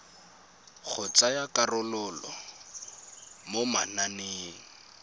go tsaya karolo mo mananeng